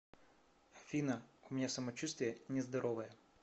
афина у меня самочувствие нездоровое